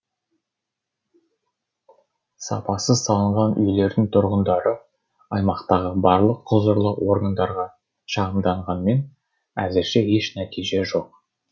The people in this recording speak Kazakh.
сапасыз салынған үйлердің тұрғындары аймақтағы барлық құзырлы органдарға шағымданғанмен әзірше еш нәтиже жоқ